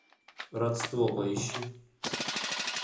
родство поищи